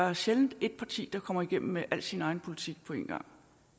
er sjældent at et parti kommer igennem med al sin egen politik på en gang